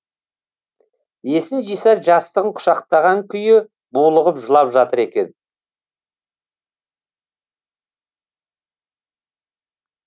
есін жиса жастығын құшақтаған күйі булығып жылап жатыр екен